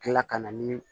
Kila ka na ni